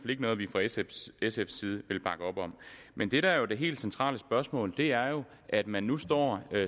ikke noget vi fra sfs side vil bakke op om men det der er det helt centrale spørgsmål er jo at man nu står